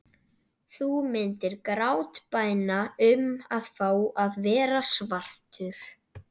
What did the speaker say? Þú myndir grátbæna um að fá að verða svartur.